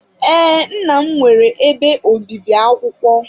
Ee, nna m nwere ebe obibi akwụkwọ.